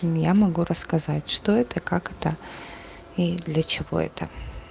ну я могу рассказать что это как это и для чего это